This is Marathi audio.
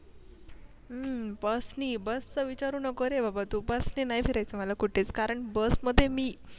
हम्म बस नि bus चा विचारू नको बाबा तू bus नि नाय फिरायचा मला कुठेच कारण बस मध्ये मी